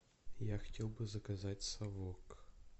я хотел бы заказать совок